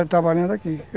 Foi trabalhando aqui.